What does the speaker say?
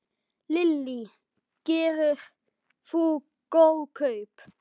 Lillý: Gerðir þú góð kaup?